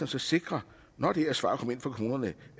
så sikre når det her svar kommer ind fra kommunerne